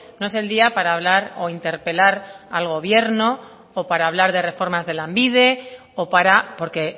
no es el día para hablar o interpelar al gobierno o para hablar de reformas de lanbide o para porque